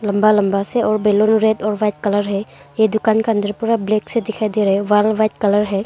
लंबा लंबा से और बैलून रेड और वाइट कलर है ये दुकान के अंदर पूरा ब्लैक से दिखाई दे रहे वाल वाइट कलर है।